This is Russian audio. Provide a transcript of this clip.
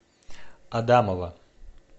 адамова